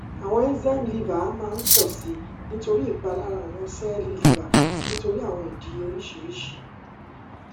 awọn enzyme liver maa n pọ si nitori ipalara awọn sẹẹli liver nitori awọn idi oriṣiriṣi